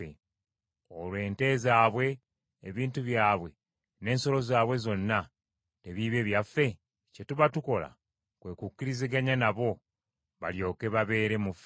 Olwo ente zaabwe, ebintu byabwe n’ensolo zaabwe zonna tebiibe byaffe? Kye tuba tukola kwe kukkiriziganya nabo, balyoke babeere mu ffe.